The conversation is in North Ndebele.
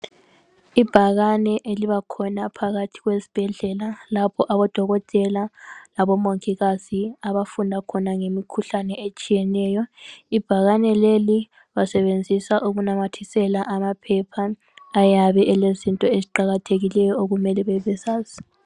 Ibhakane elibakhona phakathi kwezibhedlela lapho abodokotela labomongikazi abafunda khona ngemikhuhlane etshiyeneyo. Ibhakane leli basebenzisa ukunamathisela amaphepha ayabe elezinto eziqakathekileyo okumele bebezazi.